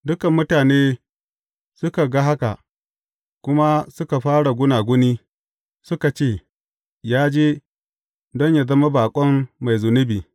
Dukan mutane suka ga haka, kuma suka fara gunaguni, suka ce, Ya je don yă zama baƙon mai zunubi.’